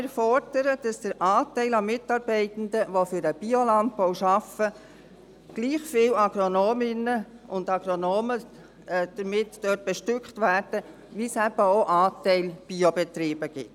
Wir fordern somit, dass der Anteil Agronominnen und Agronomen für den Biolandbau dem Anteil Biobetriebe entspricht.